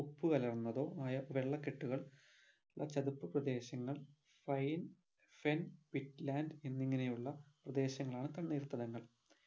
ഉപ്പുകലർന്നതോ ആയ വെള്ള കെട്ടുകൾ ചതുപ്പ് പ്രദേശങ്ങൾ fine fin pit land എന്നിങ്ങനെ ഉള്ള പ്രദേശങ്ങളാണ് തണ്ണീർത്തടങ്ങൾ